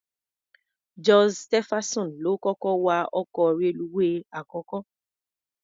George Stephenson ló kọ́kọ́ wa ọkọ̀ reluwé àkọ́kọ́.